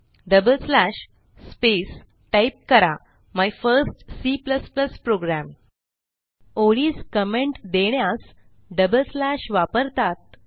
double slash space type करा my first C program ओळीस comment देण्यास डबल स्लॅश वापरतात